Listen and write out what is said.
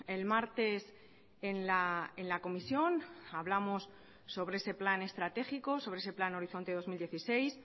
el martes en la comisión hablamos sobre ese plan estratégico sobre ese plan horizonte dos mil dieciséis